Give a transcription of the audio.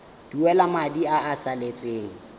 duela madi a a salatseng